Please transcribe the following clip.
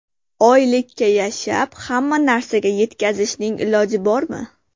Oylikka yashab, hamma narsaga yetkazishning iloji bormi?